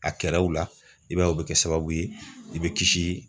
A kɛr'aw la i b'a ye u bɛ kɛ sababu ye i bɛ kisi